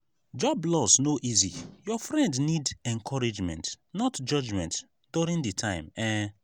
job loss no easy; your friend need encouragement not judgement during di time. um